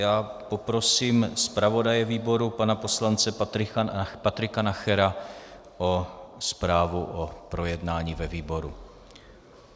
Já poprosím zpravodaje výboru pana poslance Patrika Nachera o zprávu o projednání ve výboru.